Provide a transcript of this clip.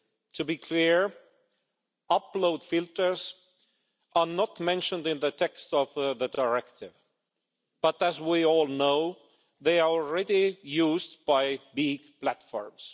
To be clear, upload filters are not mentioned in the text of the directive, but as we all know they are already used by big platforms.